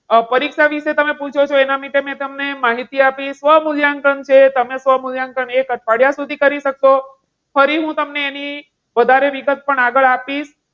પરીક્ષા વિશે તમે પૂછો છો એના હિસાબે મેં તમને માહિતી આપી સ્વમૂલ્યાંકન છે. તમે સ્વમૂલ્યાંકન એક અઠવાડિયા સુધી કરી શકશો. ફરી હું તમને, એની વધારે વિગત પણ આગળ આપીશ.